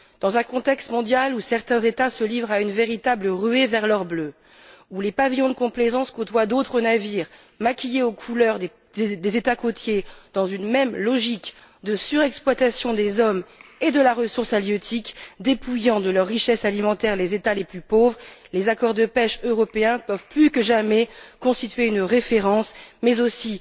Dans un contexte mondial où certains États se livrent à une véritable ruée vers l'or bleu, où les pavillons de complaisance côtoient d'autres navires maquillés aux couleurs des États côtiers dans une même logique de surexploitation des hommes et de la ressource halieutique dépouillant de leur richesse alimentaire les États les plus pauvres, les accords de pêche européens peuvent, plus que jamais, constituer une référence mais aussi